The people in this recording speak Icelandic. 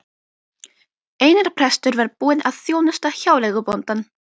Einar prestur var búinn að þjónusta hjáleigubóndann.